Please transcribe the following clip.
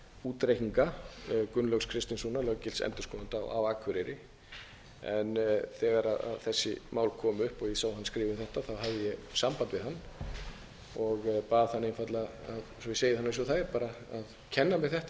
útreikninga gunnlaugs kristinssonar löggilts endurskoðanda á akureyri en þegar þessi mál komu upp og ég sá hann skrifa um þetta hafði ég samband við hann og bað hann einfaldlega svo ég segi það bara eins og það er að kenna mér þetta þetta